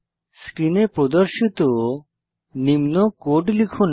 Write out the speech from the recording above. স্ক্রিনে প্রদর্শিত নিম্ন কোড লিখুন